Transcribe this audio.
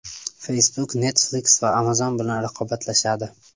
Facebook Netflix va Amazon bilan raqobatlashadi.